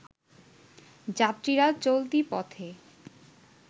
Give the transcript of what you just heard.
যাত্রীরা চলতি পথে